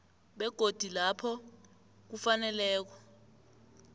begodu lapho kufaneleko